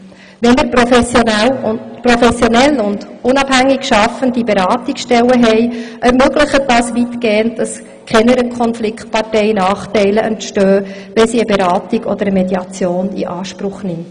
Wenn wir professionell und unabhängig schaffende Beratungsstellen haben, ermöglicht das weitgehend, dass keiner Konfliktpartei Nachteile entstehen, wenn sie eine Beratung oder Mediation in Anspruch nimmt.